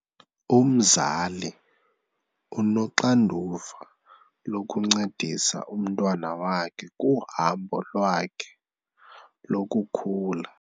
Umzali unoxanduva lokuncedisa umntwana wakhe kuhambo lwakhe lokukhula.